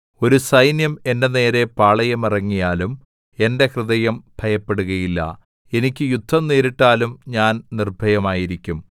ഒരു സൈന്യം എന്റെ നേരെ പാളയമിറങ്ങിയാലും എന്റെ ഹൃദയം ഭയപ്പെടുകയില്ല എനിക്ക് യുദ്ധം നേരിട്ടാലും ഞാൻ നിർഭയമായിരിക്കും